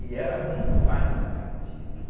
E era muito mais nutritivo.